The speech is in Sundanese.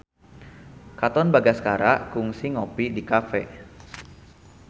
Katon Bagaskara kungsi ngopi di cafe